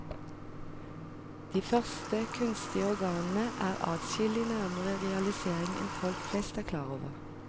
De første kunstige organene er adskillig nærmere realisering enn folk flest er klar over.